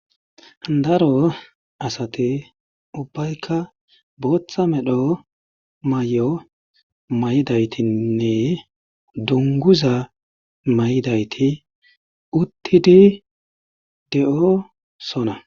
Daro asati ubbaykka booththa medho may'o may'idaytinne dunguza mayidayti uttidi de'o sona.